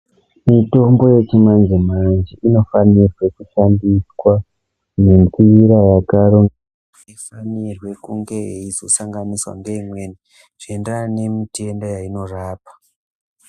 Mitombo yechimanje-manje inofanirwa kushandiswa nemirawo inofanira kuzonge yeizosanganiswa ngeumweni zveinderana nemitenda yainorapa.